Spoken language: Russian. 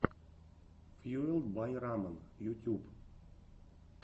фьюэлд бай рамэн ютюб